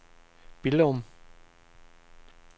Billum